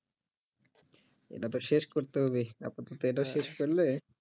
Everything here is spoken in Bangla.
এটা তো শেষ করতে হবে আপাতত এটা শেষ করলে